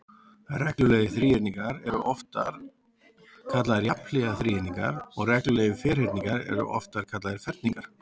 Reglulegir þríhyrningar eru reyndar oftar kallaðir jafnhliða þríhyrningar og reglulegir ferhyrningar eru oftar kallaðir ferningar.